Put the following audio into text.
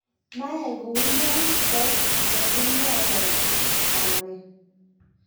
mayai kou ya kokimwowon kamet